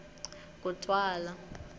kutwala